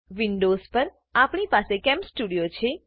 Windows પર આપણી પાસે કેમસ્ટુડીઓ છે